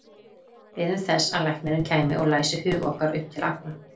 Biðum þess að læknirinn kæmi og læsi hug okkar upp til agna.